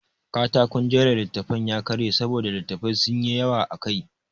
Katakon jera littattafan ya karye saboda littattafai sun yi yawa akai.